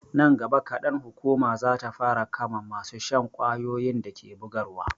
Nan gaba kadan, hukuma za ta fara kama masu shan ƙwayoyin da ke bugarwa.